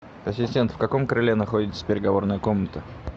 ассистент в каком крыле находится переговорная комната